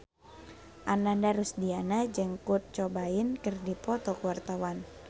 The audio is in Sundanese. Ananda Rusdiana jeung Kurt Cobain keur dipoto ku wartawan